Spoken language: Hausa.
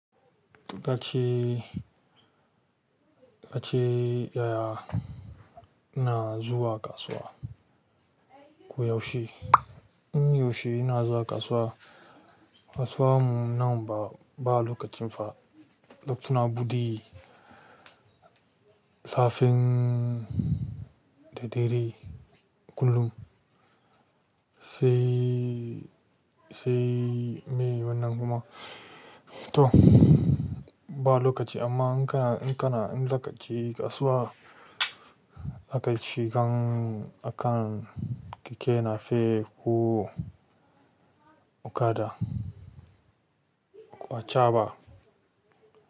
Kace, kace yaya ina zuwa kasuwa koyaushe. Ko yaushe ina zuwa kasuwa, kasuwa mu na ba, ba lokacin fa, lokutan buɗi, safen daidai kunun sai, sei mai wannan kuma. To ba lokaci amma in kana, in kana, in da ƙaci kasuwa aka ci gang akan keke na fe ko okada ko achaɓa.